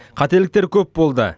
қателіктер көп болды